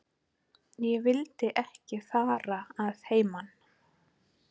Ég vildi ekki fara að heiman.